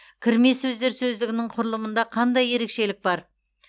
кірме сөздер сөздігінің құрылымында қандай ерекшелік бар